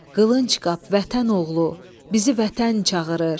Qılıncqap vətən oğlu, bizi vətən çağırır.